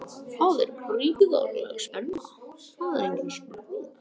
Það er gríðarleg spenna, það er engin spurning.